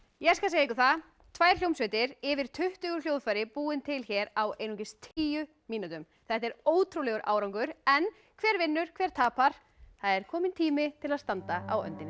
ég skal segja ykkur það tvær hljómsveitir yfir tuttugu hljóðfæri búin til hér á einungis tíu mínútum þetta er ótrúlegur árangur en hver vinnur hver tapar það er kominn tími til að standa á öndinni